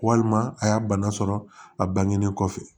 Walima a y'a bana sɔrɔ a bange kɔfɛ